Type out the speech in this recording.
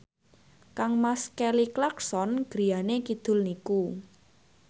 kangmas Kelly Clarkson griyane kidul niku